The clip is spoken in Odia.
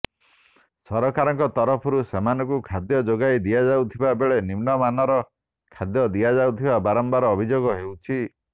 ସରକାରଙ୍କ ତରଫରୁ ସେମାନଙ୍କୁ ଖାଦ୍ୟ ଯୋଗାଇ ଦିଆଯାଉଥିବା ବେଳେ ନିମ୍ନ ମାନର ଖାଦ୍ୟ ଦିଆଯାଉଥିବା ବାରମ୍ବାର ଅଭିଯୋଗ ଆସୁଛି